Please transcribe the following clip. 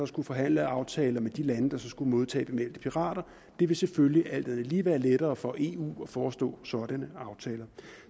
skulle forhandle aftaler med de lande der så skulle modtage bemeldte pirater og det ville selvfølgelig alt andet lige være lettere for eu at forestå sådanne aftaler